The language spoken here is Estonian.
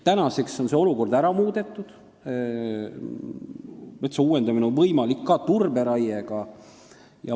Tänaseks on see olukord ära muudetud, metsa on võimalik uuendada ka turberaiega.